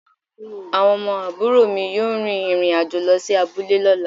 Awon omo aburo mi yoo rin irin ajo lo si abule lola